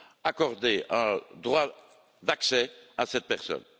accordé un droit d'accès à cette personne.